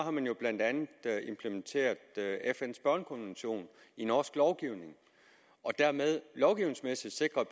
at man jo blandt andet har implementeret fns børnekonvention i norsk lovgivning og dermed lovgivningsmæssigt sikret